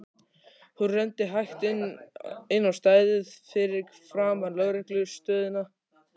Hún renndi hægt inn á stæðið fyrir framan lögreglu stöðina.